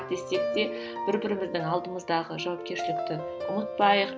десек те бір біріміздің алдымыздағы жауапкершілікті ұмытпайық